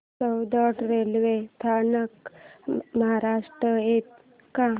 Soundad railway स्थानक महाराष्ट्रात येतं का